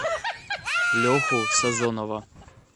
леху сазонова